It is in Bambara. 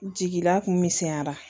Jigila kun misɛnyara